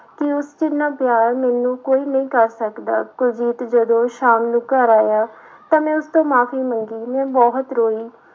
ਕਿ ਉਸ ਜਿੰਨਾ ਪਿਆਰ ਮੈਨੂੰ ਕੋਈ ਨਹੀਂ ਕਰ ਸਕਦਾ, ਕੁਲਜੀਤ ਜਦੋਂ ਸ਼ਾਮ ਨੂੰ ਘਰ ਆਇਆ ਤਾਂ ਮੈਂ ਉਸ ਤੋਂ ਮਾਫ਼ੀ ਮੰਗੀ, ਮੈਂ ਬਹੁਤ ਰੋਈ।